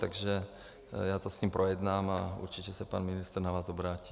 Takže já to s ním projednám a určitě se pan ministr na vás obrátí.